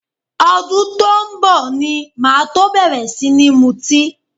Ọdún tó ń bọ̀ ni máa tó bẹ̀rẹ̀ sí ní mutí